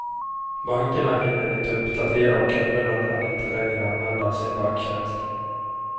Bankerna hinner inte uppdatera och kunderna kan inte längre använda sin banktjänst.